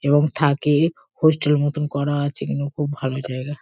এবং থাকে। হোস্টেল মতন করা আছে। এখানে খুব ভালো জায়গা।